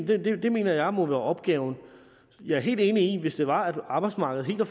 det det mener jeg må være opgaven jeg er helt enig i at hvis det var at arbejdsmarkedet var